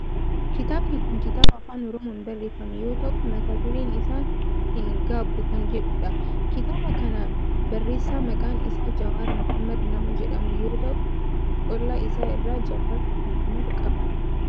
Kitaabni kun kitaaba afaa oromoon barreeffame yoo ta'u mata dureen isaa hin gaabbu kan jedhudha. Kitaaba kana kan barreesse maqaan isaa Jawaar Mohaammed nama jedhamu yoo ta'u qola isaa irraa Jawaar mohaammed qaba.